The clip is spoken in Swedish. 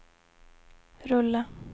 rulla